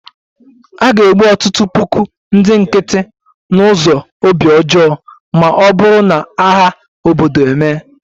A ga-egbu ọtụtụ puku ndị nkịtị n'ụzọ obi ọjọọ ma ọ bụrụ na agha obodo emee